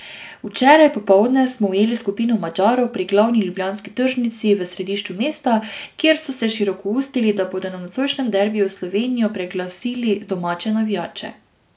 Včeraj popoldne smo ujeli skupino Madžarov pri glavni ljubljanski tržnici v središču mesta, kjer so se širokoustili, da bodo na nocojšnjem derbiju s Slovenijo preglasili domače navijače.